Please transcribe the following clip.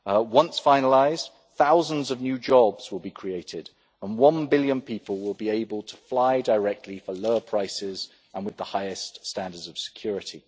Once finalised, thousands of new jobs will be created, and one billion people will be able to fly directly for lower prices and with the highest standards of security.